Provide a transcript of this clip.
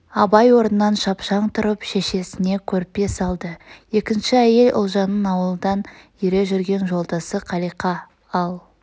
абай орнынан шапшаң тұрып шешесне көрпе салды екінші әйел ұлжанның ауылдан ере жүрген жолдасы қалиқа ал